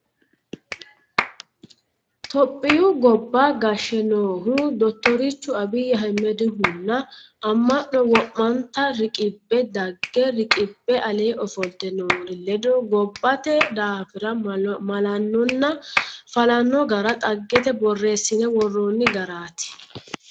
Tophiyu gobba gashshe noohu dottorchu Abiyi Ahmedihunna ama'no wo'manta riqqibbe daga riqibbe ale ofolte noori ledo gobbate daafira malanonna falano gara dhaggete borreessine woronni garati.